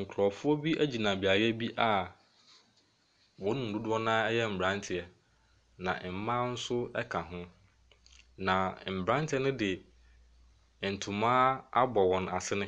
Nkurɔfoɔ bi gyina beaeɛ bi a wɔn mu dodoɔ no ara yɛ mmeranteɛ na mmaa nso ka ho, na mmeranteɛ no de ntoma abɔ wɔn asene,